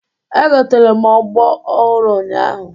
Egotere m ogbo ọhụrụ ụnyahụ